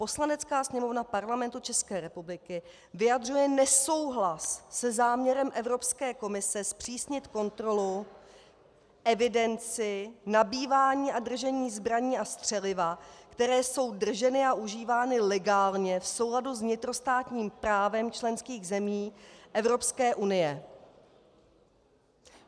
Poslanecká sněmovna Parlamentu České republiky vyjadřuje nesouhlas se záměrem Evropské komise zpřísnit kontrolu, evidenci, nabývání a držení zbraní a střeliva, které jsou drženy a užívány legálně v souladu s vnitrostátním právem členských zemí Evropské unie.